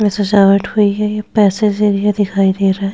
में सजावट हुई है ये पैसे से एरिया दिखाई दे रहा हैं।